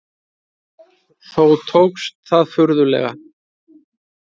Þó tókst það furðanlega.